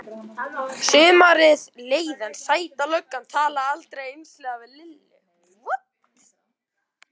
Sumarið leið en Sæta löggan talaði aldrei einslega við Lillu.